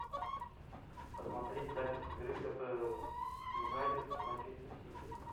посмотреть запись игры апл юнайтед с манчестер сити